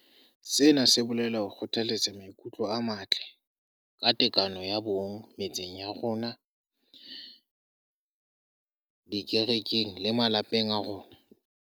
Sena se bolela ho kgothaletsa maikutlo a matle ka tekano ya bong metseng ya rona, dikerekeng le malapeng a rona.